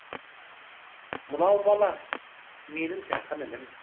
мынау бала менің жақын інім